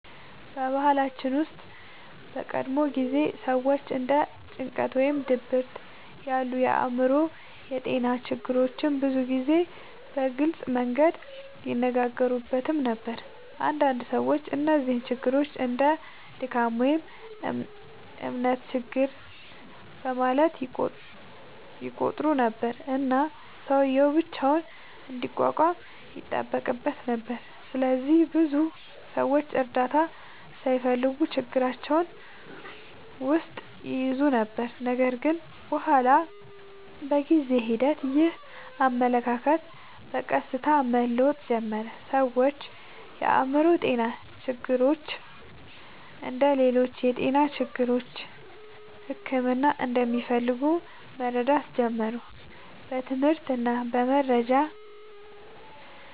በባህላችን ውስጥ በቀድሞ ጊዜ ሰዎች እንደ ጭንቀት ወይም ድብርት ያሉ የአእምሮ ጤና ችግሮችን ብዙ ጊዜ በግልጽ መንገድ አይነጋገሩበትም ነበር። አንዳንድ ሰዎች እነዚህን ችግሮች እንደ “ድካም” ወይም “እምነት ችግር” በማለት ይቆጥሩ ነበር፣ እና ሰውዬው ብቻውን እንዲቋቋም ይጠበቅበት ነበር። ስለዚህ ብዙ ሰዎች እርዳታ ሳይፈልጉ ችግራቸውን ውስጥ ይይዙ ነበር። ነገር ግን በኋላ በጊዜ ሂደት ይህ አመለካከት በቀስታ መለወጥ ጀመረ። ሰዎች የአእምሮ ጤና ችግሮች እንደ ሌሎች የጤና ችግሮች ሕክምና እንደሚፈልጉ መረዳት ጀመሩ። በትምህርት እና በመረጃ